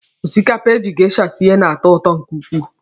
Osikapa eji geisha sie na-atọ ụtọ nke ukwuu.